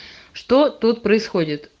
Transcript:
что тут происходит